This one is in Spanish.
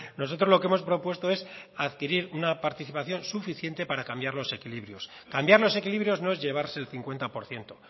nosotros lo que hemos propuesto es adquirir una participación suficiente para cambiar los equilibrios cambiar los equilibrios no es llevarse el cincuenta por ciento